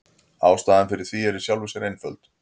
Ástæðan fyrir því er í sjálfu sér einföld.